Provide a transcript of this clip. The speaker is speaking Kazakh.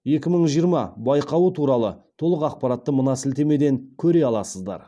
екі мың жиырма байқауы туралы толық ақпаратты мына сілтемеден көре аласыздар